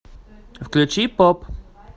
включи поп